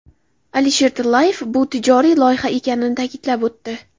Alisher Tillayev bu tijoriy loyiha ekanini ta’kidlab o‘tdi.